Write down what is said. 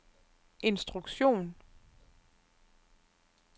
instruktion